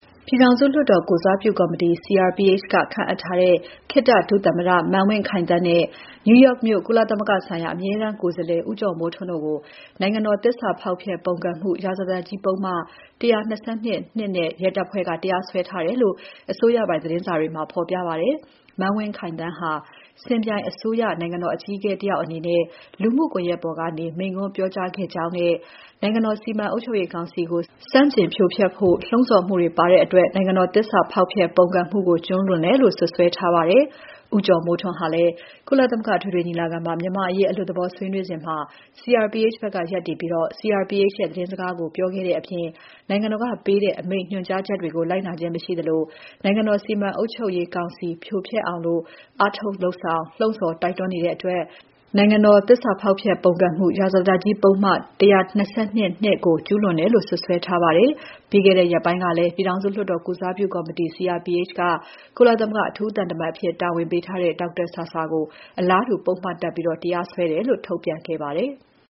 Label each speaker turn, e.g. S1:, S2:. S1: ပြည်ထောင်စု လွှတ်တော်ကိုယ်စားပြုကော်မတီ CRPH က ခန့်အပ်ထားတဲ့ ခေတ္တဒုသမ္မတ မန်းဝင်းခိုင်သန်းနဲ့ New York မြို့ ကုလသမဂ္ဂဆိုင်ရာ မြန်မာအမြဲတမ်းကိုယ်စားလှယ် ဦးကျော်မိုးထွန်းတို့ကို နိုင်ငံတော် သစ္စာဖောက်ဖျက် ပုန်ကန်မှု ရာဇသတ်ကြီး ပုဒ်မ ၁၂၂ (၂) နဲ့ ရဲတပ်ဖွဲ့က တရားစွဲထားတယ်လို့ အစိုးရပိုင်သတင်းစာတွေမှာ ဖော်ပြပါတယ်။ မန်းဝင်းခိုင်သန်းဟာ စင်ပြိုင်အစိုးရ နိုင်ငံတော်အကြီးအကဲ တယောက်အနေနဲ့ လူမှုကွန်ယက်ပေါ်ကနေ မိန့်ခွန်းပြောကြားခဲ့ကြောင်းနဲ့ နိုင်ငံတော်စီမံအုပ်ချုပ်ရေးကောင်စီကို ဆန့်ကျင်ဖြိုဖက်ဖို့ လှုံ့ဆော်မှုတွေပါတဲ့အတွက် နိုင်ငံတော် သစ္စာဖောက်ဖျက် ပုန်ကန်မှုကို ကျူးလွန်တယ်လို့ စွပ်စွဲထားပါတယ်။ ဦးကျော်မိုးထွန်းဟာလည်း ကုလသမဂ္ဂအထွေထွေညီလာခံမှာ မြန်မာ့အရေး အလွတ်သဘောဆွေးနွေးစဉ် CRPH ဘက်က ရပ်တည်ပြီး CRPH ရဲ့ သတင်းစကားကို ပြောခဲ့တဲ့အပြင်၊ နိုင်ငံတော်ကပေးတဲ့ အမိန့် ညွှန်ကြားချက်တွေကို လိုက်နာခြင်း မရှိသလို နိုင်ငံတော်စီမံအုပ်ချုပ်ရေးကောင်စီ ဖြိုဖျက်အောင် အားထုတ်လုပ်ဆောင်၊ လှုံ့ဆော် တိုက်တွန်းနေတဲ့အတွက် နိုင်ငံတော် သစ္စာဖောက်ဖျက် ရာဇသတ်ကြီး ပုဒ်မ ၁၂၂ (၂) ကိုကျူးလွန်တယ်လို့ စွပ်စွဲထားပါတယ်။ ပြီးခဲ့တဲ့ရက်ပိုင်းကလည်း ပြည်ထောင်စုလွှတ်တော်ကိုယ်စားပြုကော်မတီ CRPH က ကုလသမဂ္ဂ အထူးသံတမန်အဖြစ် တာဝန်ပေးထားတဲ့ ဒေါက်တာဆာဆာကို အလားတူ ပုဒ်မတပ်ပြီး တရားစွဲတယ်လို့ ထုတ်ပြန်ခဲ့ပါသေးတယ်။